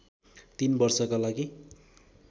३ वर्षका लागि